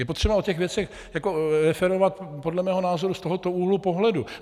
Je potřeba o těch věcech referovat podle mého názoru z tohoto úhlu pohledu.